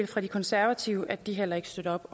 fra de konservative meddele at de heller ikke støtter